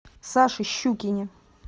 саше щукине